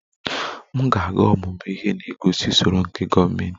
M ga-aga ọmụmụ ihe na-egosi usoro nke gọọmentị